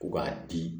Ko k'a di